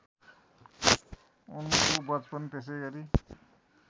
उनको वचपन त्यसैगरी